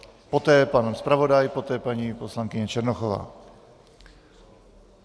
Poté pan zpravodaj, poté paní poslankyně Černochová.